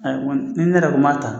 ni ne yɛrɛ tun m'a ta